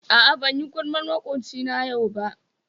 A'a banyi gulmar makwocina yau ba.